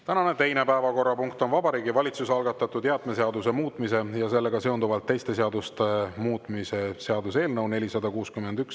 Tänane teine päevakorrapunkt on Vabariigi Valitsuse algatatud jäätmeseaduse muutmise ja sellega seonduvalt teiste seaduste muutmise seaduse eelnõu 461.